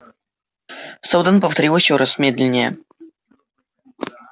сэлдон повторил ещё раз медленнее